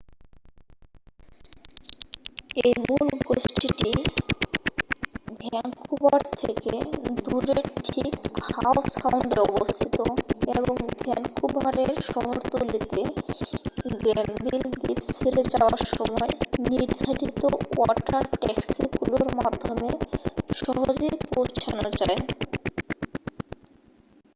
এই মূল গোষ্ঠীটি ভ্যাঙ্কুবার থেকে দূরে ঠিক হাও সাউন্ডে অবস্থিত এবং ভ্যানকুভারের শহরতলিতে গ্র্যানভিল দ্বীপ ছেড়ে যাওয়ার সময় নির্ধারিত ওয়াটার ট্যাক্সিগুলির মাধ্যমে সহজেই পৌঁছানো যায়